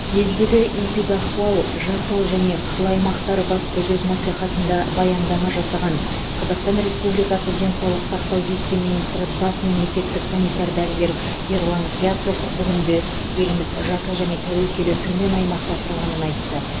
елдегі эпидахуал жасыл және қызыл аймақтар баспасөз мәслихатында баяндама жасаған қазақстан республикасы денсаулық сақтау вице министрі бас мемлекеттік санитар дәрігер ерлан қиясов бүгінде еліміз жасыл яғни тәуекелі төмен аймақта тұрғанын айтты